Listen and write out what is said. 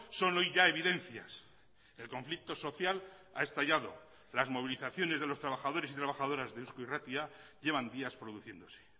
son hoy ya evidencias el conflicto social ha estallado las movilizaciones de los trabajadores y trabajadoras de eusko irratia llevan días produciéndose